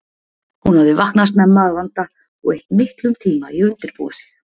Hún hafði vaknað snemma að vanda og eytt miklum tíma í að undirbúa sig.